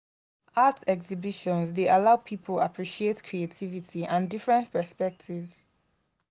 art exhibitions dey allow people appreciate creativity and different perspectives.